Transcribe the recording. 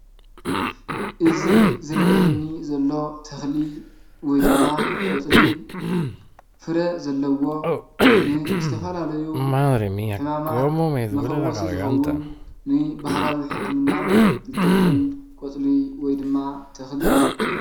እዚ ዝረአየኒ ዘሎ ተኽሊ ወይ ድማ ቆፅሊ ፍረ ዘለዎ ንዝተፈላለዩ ሕማማት መፈወሲ ዝኸውን ንባህላዊ ሕክምና ዝጠቅም ቆፅሊ ወይ ድማ ተኽሊ እዩ፡፡